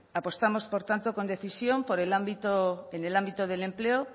apostamos por tanto con decisión en el ámbito del empleo